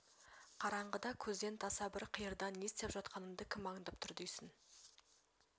қараңғыда көзден таса бір қиырда не істеп жатқаныңды кім аңдып тұр дейсің